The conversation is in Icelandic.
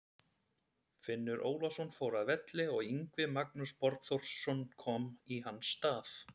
Finnur Ólafsson fór af velli og Yngvi Magnús Borgþórsson kom í hans stað.